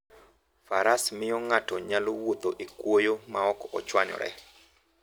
Faras miyo ng'ato nyalo wuotho e kwoyo maok ochwanyore.